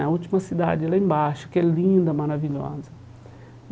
É a última cidade lá embaixo, que é linda, maravilhosa.